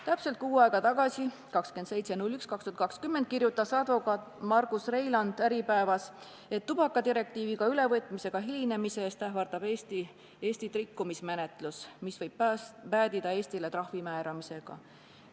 Täpselt kuu aega tagasi, 27. jaanuaril kirjutas advokaat Margus Reiland Äripäevas, et tubakadirektiivi ülevõtmisega hilinemise eest ähvardab Eestit rikkumismenetlus, mis võib päädida Eestile trahvi määramisega.